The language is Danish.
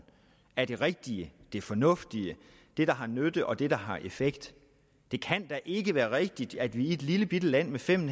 af det rigtige af det fornuftige det der har nytte og det der har effekt det kan da ikke være rigtigt at vi i et lillebitte land med fem